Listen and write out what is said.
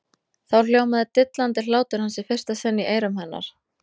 Þá hljómaði dillandi hlátur hans í fyrsta sinn í eyrum hennar.